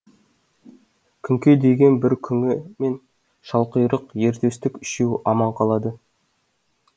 күңке деген бір күңі мен шалқұйрық ер төстік үшеуі аман қалады